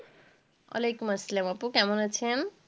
ওয়ালাইকুমুসসালাম আপু, কেমন আছেন?